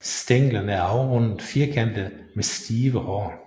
Stænglerne er afrundet firkantede med stive hår